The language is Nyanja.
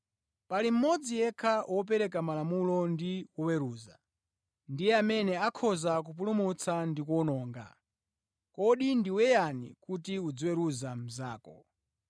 Pali mmodzi yekha Wopereka Malamulo ndi Woweruza. Ndiye amene akhoza kupulumutsa ndi kuwononga. Kodi ndiwe yani kuti uziweruza mnzako?